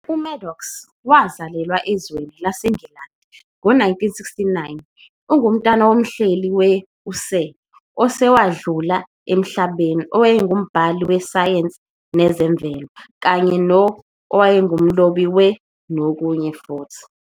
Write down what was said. uMaddox wazalelwa ezweni lwase Ngilandi ngo 1969 ungumntwana womhleli we ', u-Sir , osewandlula emhlabeni owayengubhali we-sayensi nezemvelo, kanye no-, owaye ngumlobi we ,, nokunye futhi.